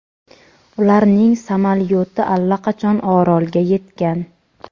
ularning samolyoti allaqachon orolga yetgan.